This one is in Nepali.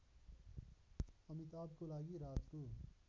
अमिताभको लागि राजको